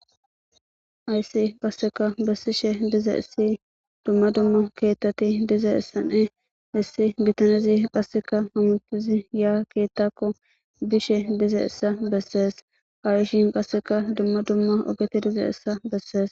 Haysi qasseka bessishe diza essi dumma dumma keettati diza essane hessi bitanezi qasseka hamutizi ya keettakko bishe dize issa bessees harishin qasseka dumma dumma ogeti diza essa bessees.